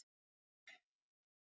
Málið snýst ekki um það.